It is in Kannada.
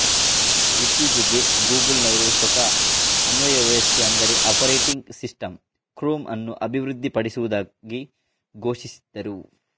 ಇತ್ತೀಚೆಗೆ ಗೂಗಲ್ನವರು ಸ್ವಂತ ಅನ್ವಯ ವ್ಯವಸ್ಥೆ ಅಂದರೆ ಆಪರೇಟಿಂಗ್ ಸಿಸ್ಟಂ ಕ್ರೋಮ್ ಅನ್ನು ಅಭಿವೃದ್ಧಿ ಪಡಿಸುವುದಾಗಿ ಘೋಷಿಸಿದ್ದರು